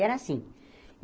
Era assim.